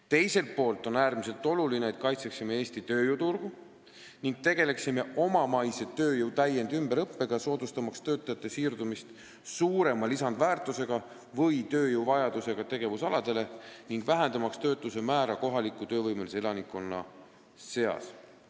Teiselt poolt on äärmiselt oluline, et kaitseksime Eesti tööjõuturgu ning tegeleksime omamaise tööjõu täiendus- ja ümberõppega, soodustamaks töötajate siirdumist suurema lisandväärtusega või tööjõuvajadusega tegevusaladele ning vähendamaks töötuse määra kohaliku töövõimelise elanikkonna seas.